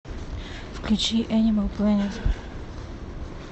включи энимал плэнет